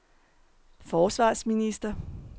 forsvarsminister